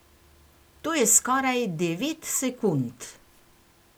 To je skoraj devet sekund!